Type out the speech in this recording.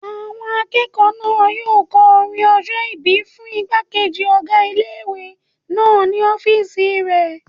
Àwọn akẹ́kọ̀ọ́ náà yóò kọ orin ọjọ́-ìbí fún ìgbàkejì ọgá ilé-ìwé náà ní ọ́fìsì rẹ̀